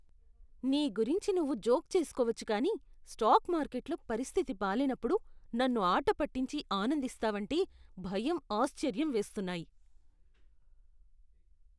నీ గురించి నువ్వు జోక్ చేసుకోవచ్చు కానీ స్టాక్ మార్కెట్లో పరిస్థితి బాలేనప్పుడు నన్ను ఆట పట్టించి ఆనందిస్తావంటే భయం, ఆశ్చర్యం వేస్తున్నాయి.